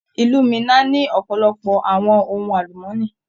Ilú Minna ni ọpọlọpọ àwọn ohùn alumọni.